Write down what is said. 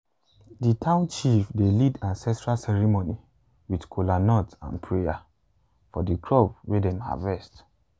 the town chief dey lead ancestral ceremony with kola nut and prayer for the crops wey dem harvest.